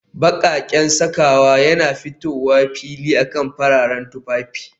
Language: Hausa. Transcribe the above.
Baƙaƙen sakawa yana fitowa fili akan fararen tufafi